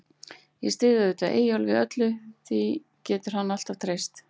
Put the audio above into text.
Ég styð auðvitað Eyjólf í öllu, því getur hann alltaf treyst.